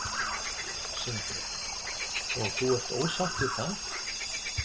Sindri: Og þú ert ósátt við það?